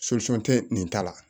tɛ nin ta la